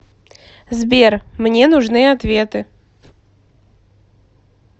сбер мне нужны ответы